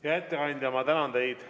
Hea ettekandja, ma tänan teid!